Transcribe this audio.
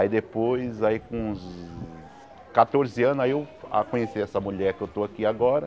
Aí depois, aí com uns catorze anos, aí eu conheci essa mulher que eu estou aqui agora.